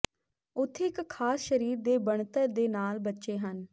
ਉੱਥੇ ਇੱਕ ਖਾਸ ਸਰੀਰ ਦੇ ਬਣਤਰ ਦੇ ਨਾਲ ਬੱਚੇ ਹਨ